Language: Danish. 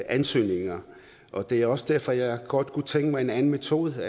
ansøgninger og det er også derfor jeg godt kunne tænke mig en anden metode